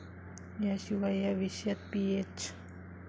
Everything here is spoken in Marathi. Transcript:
याशिवाय या विषयात पीएच.